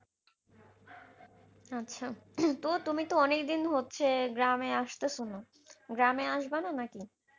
আচ্ছা তো তুমি তো অনেকদিন হচ্ছে গ্রামে আসতেছ না গ্রামে আসবানা নাকি?